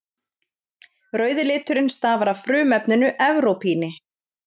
Rauði liturinn stafar af frumefninu evrópíni.